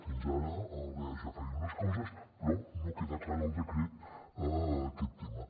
fins ara l’eaja feia unes coses però no queda clar en el decret aquest tema